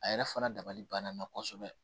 A yɛrɛ fana dabali banna kosɛbɛ